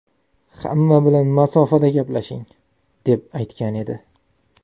Hamma bilan masofada gaplashing”, deb aytgan edi .